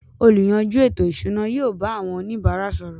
“ Olùyanjú ètò-ìṣúná” yóò bá àwọn oníbàárà sọ̀rọ̀.